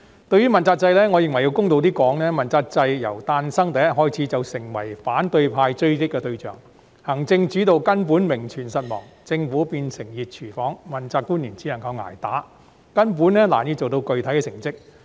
對於問責制，我認為要公道說句，問責制由誕生的第一天開始便成為反對派追擊的對象，行政主導根本名存實亡，政府變成"熱廚房"，問責官員只有"捱打"，根本難以做到具體成績。